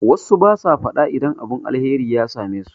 Wassu basu faɗa idan abun alheri ya same su